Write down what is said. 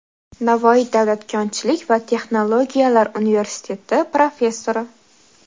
Navoiy davlat konchilik va texnologiyalar universiteti professori;.